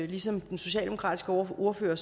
ligesom den socialdemokratiske ordfører